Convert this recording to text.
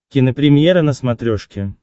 кинопремьера на смотрешке